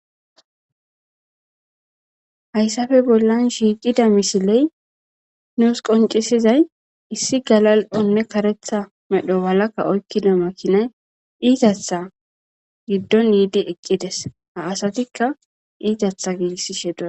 Hayisape bollan shiqida misiley nus qoncisedays gala'onee karetha medho mala makinaze izatha itatha gidon yidi eqides ha asatika izatha gigisishe do'sona